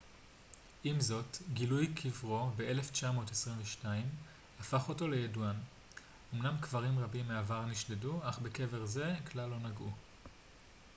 עם זאת גילוי קברו ב-1922 הפך אותו לידוען אומנם קברים רבים מהעבר נשדדו אך בקבר זה כלל לא נגעו